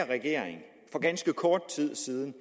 regering for ganske kort tid siden